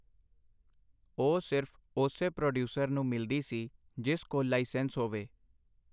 ਉਹ ਸਿਰਫ ਓਸੇ ਪ੍ਰੋਡੀਊਸਰ ਨੂੰ ਮਿਲਦੀ ਸੀ, ਜਿਸ ਕੋਲ ਲਾਈਸੈਂਸ ਹੋਵੇ.